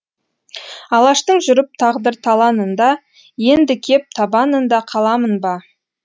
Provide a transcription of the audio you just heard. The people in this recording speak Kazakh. алаштың жүріп тағдыр таланында енді кеп табанында қаламын ба